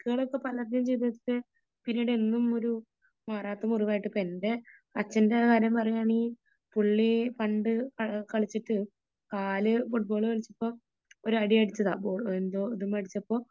എന്നും ഒരു മാറാത്ത മുറിവായിട്ട് ഇപ്പോ എന്റെ അച്ഛന്റെ കാര്യം പറയാണെങ്കിൽ പുള്ളി പണ്ട് കളിച്ചിട്ട് കാല് ഫുട്ബോൾ കളിച്ചപ്പോ ഒരു അടി അടിച്ചതാ ബോള് എന്തൊ ഇത് മ്മേ അടിച്ചപ്പോ